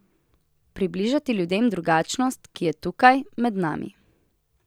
Približati ljudem drugačnost, ki je tukaj, med nami.